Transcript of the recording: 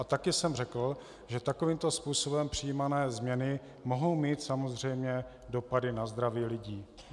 A taky jsem řekl, že takovýmto způsobem přijímané změny mohou mít samozřejmě dopady na zdraví lidí.